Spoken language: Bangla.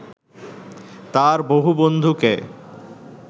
তাঁর বহু বন্ধুকে